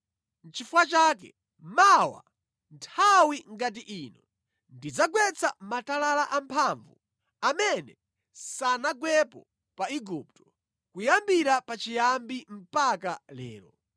Nʼchifukwa chake mawa, nthawi ngati ino, ndidzagwetsa matalala amphamvu amene sanagwepo pa Igupto, kuyambira pachiyambi mpaka lero.